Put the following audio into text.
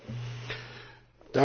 Frau Präsidentin!